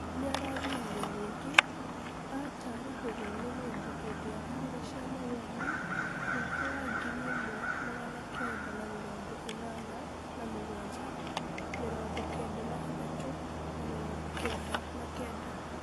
Nĩarathũrirwo rĩngĩ atarahũrwo nĩ mũndũ hĩndĩ ya kura cia mawoni mwaka wa ngiri ĩmwe magana Kenda ma mĩrongo ĩnana na mũgwanja, mĩrongo Kenda na ĩthatũ na mĩrongo Kenda na Kenda